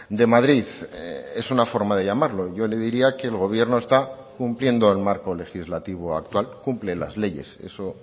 de madrid es una forma de llamarlo yo le diría que el gobierno está cumpliendo el marco legislativo actual cumple las leyes eso